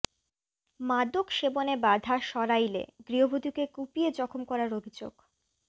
মাদক সেবনে বাধা সরাইলে গৃহবধূকে কুপিয়ে জখম করার অভিযোগ